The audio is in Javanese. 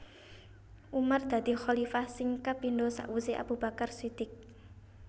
Umar dadi khalifah sing kapindo sakwuse Abu Bakar Shidiq